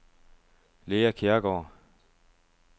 Lea Kjærgaard